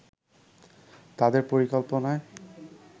তাদের পরিকল্পনায়